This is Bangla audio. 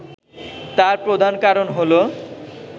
তার প্রধান কারণ হলো